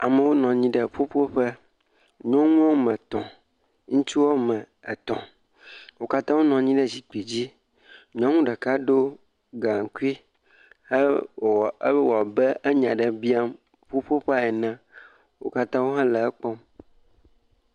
Amewo nɔ anyi ɖe ƒuƒoƒe, nyɔnu woame etɔ̃, ŋutsu woame etɔ̃. Wo katã wonɔ anyi ɖe zikpidzi. Nyɔnu ɖeka ɖo gaŋkui hewɔ, hewɔ abe enya aɖe biam ƒuƒoƒea ene. Wo katã wohele ekpɔm.